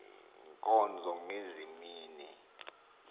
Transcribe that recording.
nkonzo ngezi mini